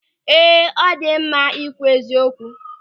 Ee, ọ dị mma ịkwụ eziokwu.